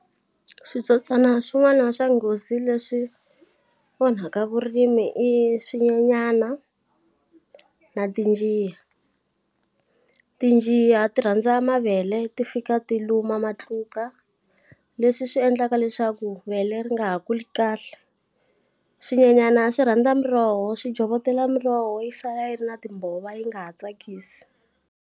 Switsotswana swin'wana swa nghozi leswi onhaka vurimi i swinyenyana, na tinjiya. Tinjiya ti rhandza mavele, ti fika ti luma matluka, leswi swi endlaka leswaku vele ri nga ha kuli kahle. Swinyenyana swi rhandza miroho, swi jhovotela miroho yi sala yi ri na timbhovo yi nga ha tsakisi.